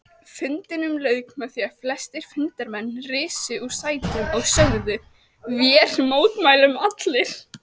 Fundinum lauk með því að flestir fundarmenn risu úr sætum og sögðu: Vér mótmælum allir